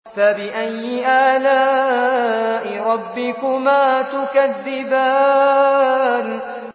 فَبِأَيِّ آلَاءِ رَبِّكُمَا تُكَذِّبَانِ